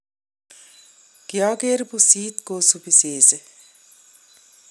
kiageer pusit kosupii sesee